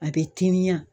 A bɛ timiya